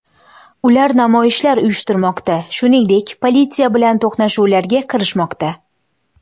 Ular namoyishlar uyushtirmoqda, shuningdek, politsiya bilan to‘qnashuvlarga kirishmoqda.